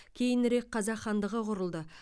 кейінірек қазақ хандығы құрылды